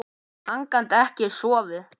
Hann gat ekki sofið.